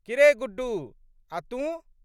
की रे गुड्डू! आ' तूँ?